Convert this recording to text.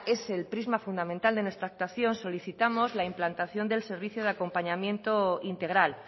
ese el prisma central de nuestra actuación solicitamos la implantación del servicio de acompañamiento integral